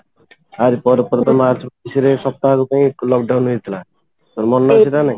ତା ରି ପରେ ପରେ ତ ମାର୍ଚ୍ଚ ମାସ ରେ ସପ୍ତାହକ ପାଇଁ lock down ହେଇଥିଲା ମନେ ଅଛି ନା ନାହିଁ